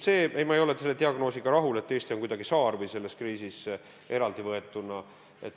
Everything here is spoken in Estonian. Ei, ma ei ole selle diagnoosiga rahul, et Eesti on kuidagi saar selles kriisis, eraldivõetuna.